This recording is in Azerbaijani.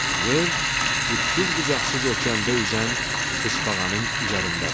Yer, ucsuz-bucaqsız okeanda üzən tısbağanın üzərindədir.